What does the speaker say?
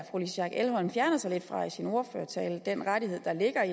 louise schack elholm fjerner sig lidt fra i sin ordførertale altså den rettighed der ligger i